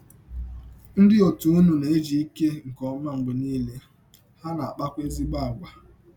Ndị òtù ụnụ na - ejike nke ọma mgbe niile, ha na - akpakwa ezịgbọ àgwà.